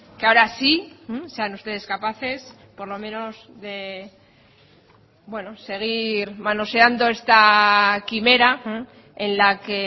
que ahora sí sean ustedes capaces de por lo menos de bueno seguir manoseando esta quimera en la que